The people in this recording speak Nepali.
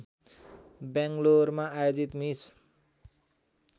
ब्याङ्गलोरमा आयोजित मिस